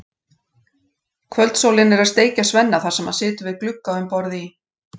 Kvöldsólin er að steikja Svenna þar sem hann situr við glugga um borð í